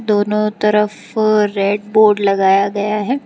दोनों तरफ red board लगाया गया है।